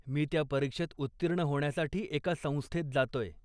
मी त्या परीक्षेत उत्तीर्ण होण्यासाठी एका संस्थेत जातोय.